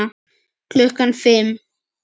Klukkan fimm.